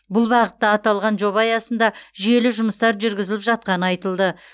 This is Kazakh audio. бұл бағытта аталған жоба аясында жүйелі жұмыстар жүргізіліп жатқаны айтылды